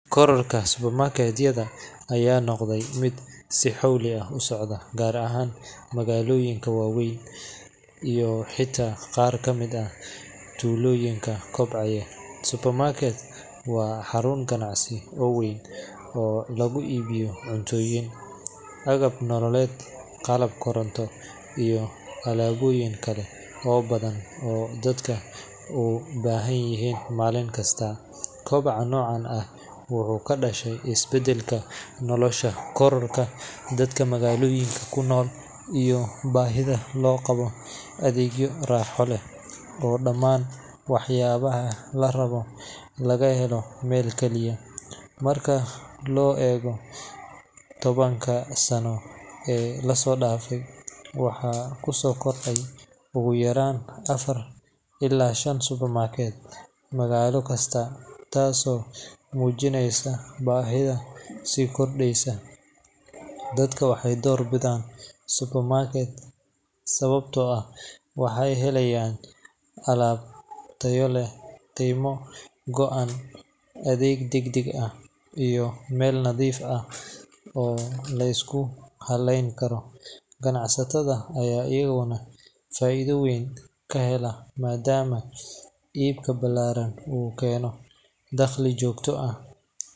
Kororka supermarket-yada ayaa noqday mid si xawli ah u socda, gaar ahaan magaalooyinka waaweyn iyo xitaa qaar ka mid ah tuulooyinka kobcaya. Supermarket waa xarun ganacsi oo weyn oo lagu iibiyo cuntooyin, agab nololeed, qalab koronto, iyo alaabooyin kale oo badan oo dadku u baahanyihiin maalin kasta. Kobaca noocan ah wuxuu ka dhashay isbeddelka nolosha, kororka dadka magaalooyinka ku nool, iyo baahida loo qabo adeegyo raaxo leh oo dhammaan waxyaabaha la rabo laga helo meel kaliya. Marka loo eego tobanka sano ee la soo dhaafay, waxaa ku soo kordhay ugu yaraan afar illaa shan supermarket magaalo kasta, taasoo muujinaysa baahida sii kordhaysa. Dadka waxay doorbidaan supermarket sababtoo ah waxay helayaan alaab tayo leh, qiime go’an, adeeg deg deg ah, iyo meel nadiif ah oo la isku halleyn karo. Ganacsatada ayaa iyaguna faa’iido weyn ka hela, maadaama iibka ballaaran uu keeno dakhli joogto ah.